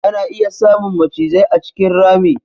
Ana iya samun macizai a cikin rami.